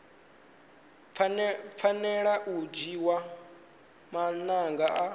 fanela u dzhiwa maga a